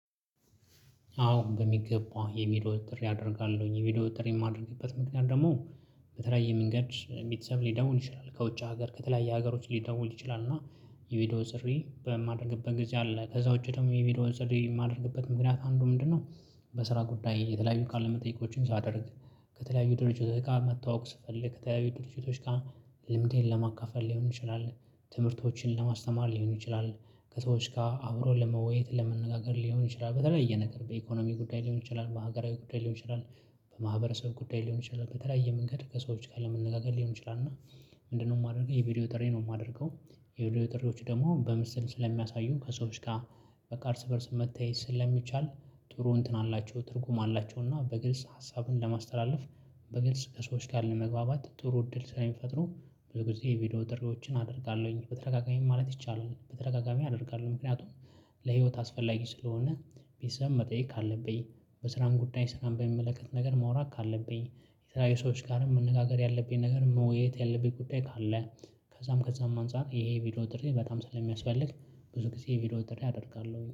አዎ በሚገባ የቪዲዮ ጥሪ አደርጋለሁ የቪዲዮ ጥሪ የማደርግበት ምክንያት ደግሞ በተለያየ መንገድ ቤተሰብ ሊደውል ይችላል ከውጭ ሀገር ከተለያየ ሀገሮች ሊደውል ይችላል እና የቪዲዮ ጥሪ በማደርግበት ጊዜ አለ ከዛ ውጪ ደግሞ የቪዲዮ ጥሪ የማድርግበት ምክንያት አንዱ ምንድነው? በስራ ጉዳይ የተለያዩ ቃል ለመጠየቆችን ሳደርግ። ከተለያዩ ድርጅቶች ጋር መተዋወቅ ስፈልግ ከተያዩ ድርጅቶች ጋር ልምዴን ለማካፈል ሊሆን ይችላል። ትምህርቶችን ለማስተማር ሊሆን ይችላል። ከሰዎች ጋር አብሮ ለመወያየት ለመነጋገር ሊሆን ይችላል በተለያየ ነገር በኢኮኖሚ ጉዳይ ሊሆን ይችላል በሀገራዊ ጉዳይ ሊሆን ይችላል። በማህበረሰብ ጉዳይ ሊሆን ይችላል በተለያየ መንገድ ከሰዎች ጋር ለመነጋገር ሊሆን ይችላል እና። ምንድነው የማደርገው የቪዲዮ ጥሪ ነው የማደርገው። የቪዲዮ ጥሪዎች ደግሞ በምስል ስለሚያሳዩ ከሰዎች ጋር በቃ እርስ በእርስ መተያየት ስለሚቻል። ጥሩ እንትን አላቸው ትርጉም አላቸውና በግልጽ ሀሳብን ለማስተላለፍ። በግልጽ ከሰዎች ጋር ለመግባባት ጥሩ እድል ስለሚፈጥሩ። ብዙ ጊዜ የቪዲዮ ጥሪዎችን አደርጋለሁኝ በተደጋጋሚ ማለት ይቻላል በተደጋጋሚ አደርጋለሁ ምክንያቱም። ለህይወት አስፈላጊ ስለሆነ። ቤተሰብ መጠየቅ ካለብኝ። በስራም ጉዳይ ስራን በሚመለከት ነገር ማውራት ካለብኝ። የተለያዩ ሰዎች ጋርም መነጋገር ያለብኝ ነገር መወያየት ያለብኝ ጉዳይ ካለ። ከዛም ከዛም አንፃር ይሄ ቪዲዮ ጥሪ በጣም ስለሚያስፈልግ። ብዙ ጊዜ የቪዲዮ ጥሪ አደርጋለሁ